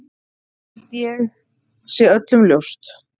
Það held ég sé öllum ljóst.